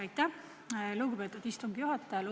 Aitäh, lugupeetud istungi juhataja!